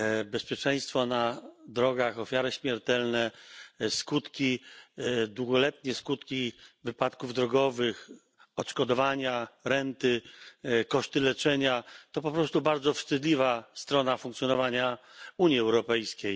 Bezpieczeństwo na drogach, ofiary śmiertelne, długoletnie skutki wypadków drogowych, odszkodowania, renty, koszty leczenia to po prostu bardzo wstydliwa strona funkcjonowania Unii Europejskiej.